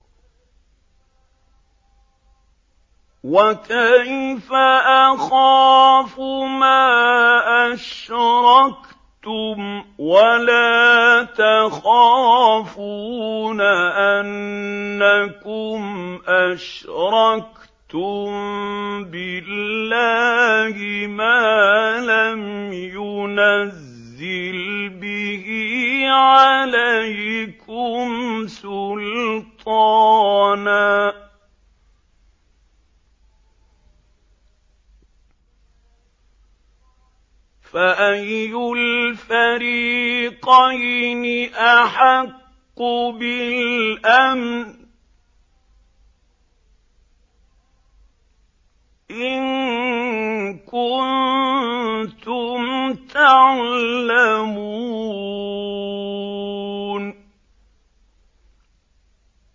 وَكَيْفَ أَخَافُ مَا أَشْرَكْتُمْ وَلَا تَخَافُونَ أَنَّكُمْ أَشْرَكْتُم بِاللَّهِ مَا لَمْ يُنَزِّلْ بِهِ عَلَيْكُمْ سُلْطَانًا ۚ فَأَيُّ الْفَرِيقَيْنِ أَحَقُّ بِالْأَمْنِ ۖ إِن كُنتُمْ تَعْلَمُونَ